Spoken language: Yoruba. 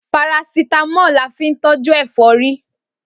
Parasítámọ̀ la fín tọ́jú ẹ̀fọ́rí